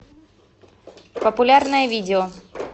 популярное видео